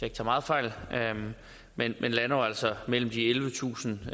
ikke tager meget fejl men lander altså mellem ellevetusind